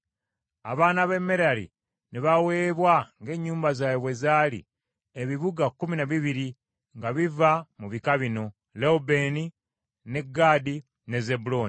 Abaana ba Merali ne baweebwa ng’ennyumba zaabwe bwe zaali, ebibuga kkumi na bibiri nga biva mu bika bino: Lewubeeni, ne Gaadi, ne Zebbulooni.